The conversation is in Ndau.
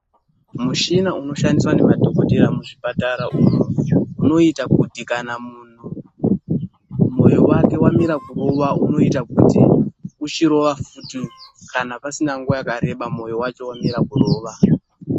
Muchina unoshandiswa nemadhogodheya muzvipatara umu unoita kuti kana muntu moyo wake wamira kurowa, unoita kuti uchirowa futi kana pasina nguwa yakareba moyo wacho wamira kurowa.